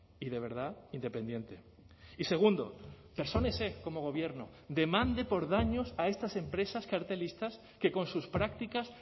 y de verdad independiente y segundo persónese como gobierno demande por daños a estas empresas cartelistas que con sus prácticas